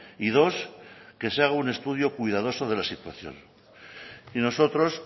y dos que se haga un estudio cuidadoso de la situación y nosotros